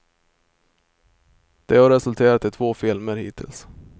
Det har resulterat i två filmer hittills.